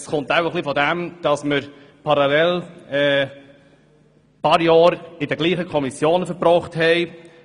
Das kommt wohl daher, dass wir mehrere Jahre in derselben Kommission verbracht haben.